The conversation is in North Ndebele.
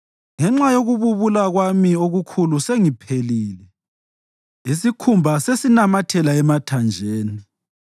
Ngenxa yokububula kwami okukhulu sengiphelile, isikhumba sesinamathela emathanjeni.